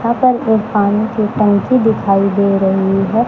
यहां पर एक पानी की टंकी दिखाई दे रही है।